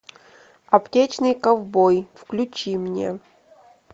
аптечный ковбой включи мне